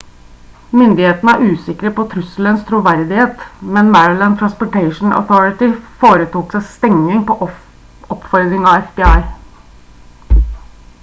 myndighetene er usikre på trusselens troverdighet men maryland transportation authority foretok stenging på oppfordring fra fbi